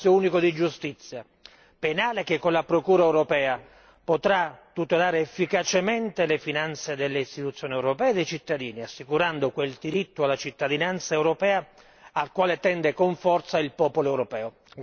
Uno spazio unico di giustizia penale che, con la Procura europea, potrà tutelare efficacemente le finanze delle istituzioni europee e dei cittadini, assicurando quel diritto alla cittadinanza europea al quale tende con forza il popolo europeo.